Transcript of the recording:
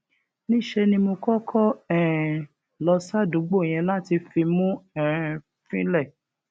níṣẹ ni mo kọkọ um lọ sádùúgbò yẹn láti fimú um fínlẹ